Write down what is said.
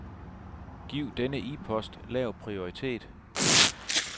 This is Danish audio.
Giv denne e-post lav prioritet.